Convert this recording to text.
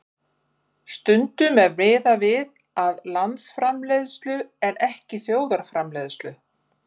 Stundum er miðað við landsframleiðslu en ekki þjóðarframleiðslu.